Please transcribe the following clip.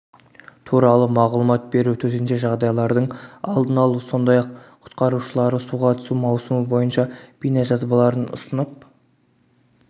туралы мағұлмат беру төтенше жағдайлардың алдын алу сондай-ақ құтқарушылары суға түсу маусымы бойынша бейнежазбаларын ұсынып